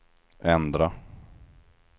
ändra